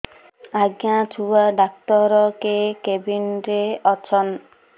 ଆଜ୍ଞା ଛୁଆ ଡାକ୍ତର କେ କେବିନ୍ ରେ ଅଛନ୍